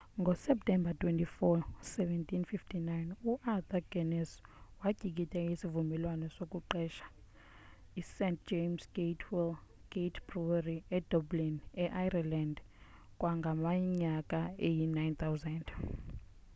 ngoseptemba 24 1759 uarthur guinness watyikitya isivumelwano sokuqesha ist james gate brewery edublin e-ireland kangangeminyaka eyi-9000